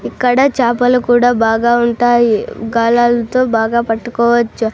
ఇక్కడ చాపలు కూడా బాగా ఉంటాయి గాలాలతో బాగా పట్టుకోవచ్చు.